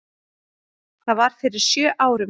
Það var fyrir sjö árum.